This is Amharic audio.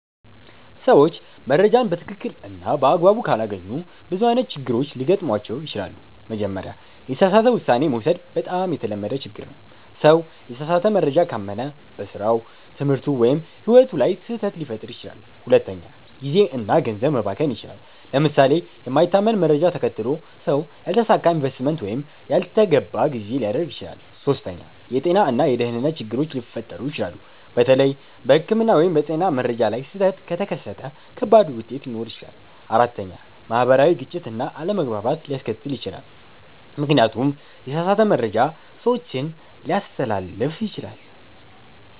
ሰዎች መረጃን በትክክል እና በአግባቡ ካላገኙ ብዙ አይነት ችግሮች ሊገጥሟቸው ይችላሉ። መጀመሪያ፣ የተሳሳተ ውሳኔ መውሰድ በጣም የተለመደ ችግር ነው። ሰው የተሳሳተ መረጃ ካመነ በስራው፣ ትምህርቱ ወይም ሕይወቱ ላይ ስህተት ሊፈጥር ይችላል። ሁለተኛ፣ ጊዜ እና ገንዘብ መባከን ይችላል። ለምሳሌ የማይታመን መረጃ ተከትሎ ሰው ያልተሳካ ኢንቨስትመንት ወይም ያልተገባ ግዢ ሊያደርግ ይችላል። ሶስተኛ፣ የጤና እና የደህንነት ችግሮች ሊፈጠሩ ይችላሉ። በተለይ በሕክምና ወይም በጤና መረጃ ላይ ስህተት ከተከተለ ከባድ ውጤት ሊኖር ይችላል። አራተኛ፣ ማህበራዊ ግጭት እና አለመግባባት ሊከሰት ይችላል፣ ምክንያቱም የተሳሳተ መረጃ ሰዎችን ሊያስተላልፍ ይችላል።